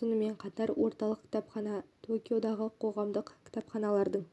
сонымен қатар орталық кітапхана токиодағы қоғамдық кітапханалардың